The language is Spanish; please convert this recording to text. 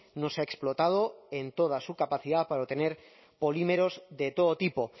no se ha explotado en toda su capacidad para obtener polímeros de todo tipo